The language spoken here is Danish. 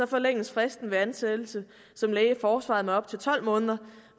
forlænges fristen ved ansættelse som læge i forsvaret med op til tolv måneder